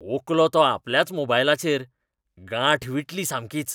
ओंकलो तो आपल्याच मोबायलाचेर. गांठ विटली सामकीच.